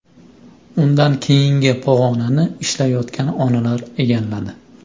Undan keyingi pog‘onani ishlayotgan onalar egalladi.